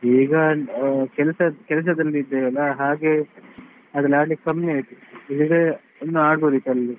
ಈಗ ಕೆಲಸ ಕೆಲಸದಲ್ಲಿ ಇದ್ದೇವೆ ಅಲ್ಲಾ ಹಾಗೆ ಅದೆಲ್ಲಾ ಆಡ್ಲಿಕೆ ಕಮ್ಮಿ ಆಯ್ತು, ಇಲ್ಲದಿದ್ರೆ ಇನ್ನೂ ಆಡ್ಬೋದಿತ್ತು ಅಲ್ಲಿ.